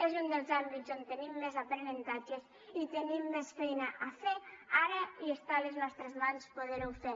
és un dels àmbits on tenim més aprenentatges i tenim més feina a fer ara i està a les nostres mans poder ho fer